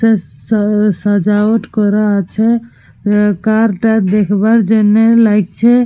তে সা সাজাওয়াট করা আছে। আঃ কার টা দেখবার জন্যে লাগছে।